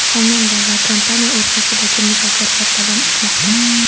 Xonanda va kompaniya o‘rtasidagi muzokaralar davom etmoqda.